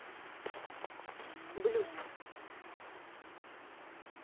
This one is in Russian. блюз